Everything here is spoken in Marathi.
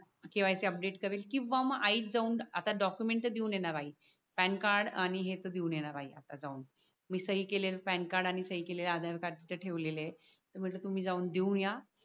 स KYC अपडेट करेल किवा मग आई च जावून आता डाकूमेंट तर देवून येणार आहे पॅन कार्ड आणि हेच देवून येणार आहे आता जावून मी सही केलेलं प्यान कार्ड आणि सही केलेलं आधार कार्ड तिथे ठेवलेले आह म्हटल तुम्ही जाऊन देऊया